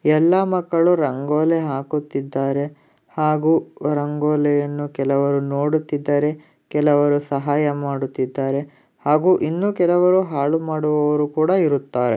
ಎಲ್ಲಾ ಮಕ್ಕಳು ರಂಗೋಲೆ ಹಾಕುತ್ತಿದ್ದಾರೆ ಹಾಗೂ ರಂಗೋಲಿಯನ್ನು ಕೆಲವರು ನೋಡುತ್ತಿದ್ದಾರೆ ಕೆಲವರು ಸಹಾಯ ಮಾಡುತ್ತಿದ್ದಾರೆ ಹಾಗೂ ಇನ್ನೂ ಕೆಲವರು ಹಾಳು ಮಾಡುವವರು ಕೂಡ ಇರುತ್ತಾರೆ.